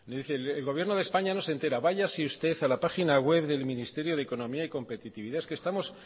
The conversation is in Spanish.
el gobierno de españa no se entera váyase usted a la página web del ministerio de economía y competitividad es que